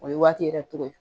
O ye waati yɛrɛ tɔgɔ ye